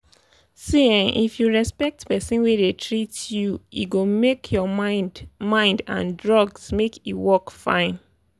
see ehnn if you respect person wey dey treat you e go make your mind mind and drugs make e work fine.